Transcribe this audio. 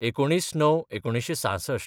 १९/०९/१९६६